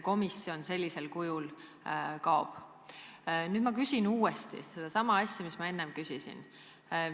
Nüüd ma küsin uuesti sedasama asja, mis ma enne küsisin.